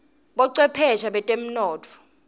bocwephesha betemnotfo